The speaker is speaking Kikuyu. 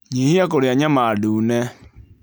Nyihia kũrĩa nyama ndune